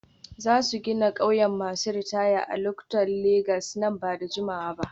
Za su gina ƙauyen masu ritaya a Ikotun Legas nan ba da jimawa ba.